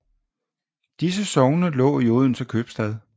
Disse sogne lå i Odense Købstad